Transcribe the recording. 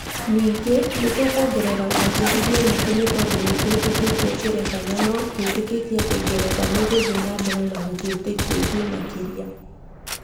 Ningĩ, nĩ tũkũongerera wonjorithia witũ nĩ tondũ no twĩtĩkĩtie Ngeretha na no twĩtĩkĩtie atĩ Ngeretha nĩ ĩgũthiĩ na mbere na gũtũĩtĩkia ithuĩ makĩria